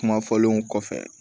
Kuma fɔlenw kɔfɛ